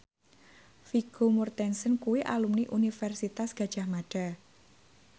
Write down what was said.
Vigo Mortensen kuwi alumni Universitas Gadjah Mada